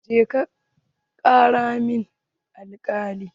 Jeka ƙira min alkalin!